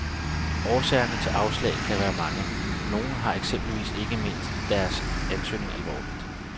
Årsagerne til afslag kan være mange, nogle har eksempelvis ikke ment deres ansøgning alvorligt.